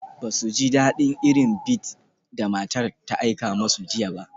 Ba su ji daɗin irin bead da matar ta aika musu jiya ba.